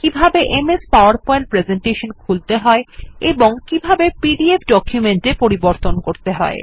কিভাবে MS PowerPoint presentation খুলতে হয় এবং কিভাবে পিডিএফ ডকুমেন্ট এ পরিবর্তন করতে হয়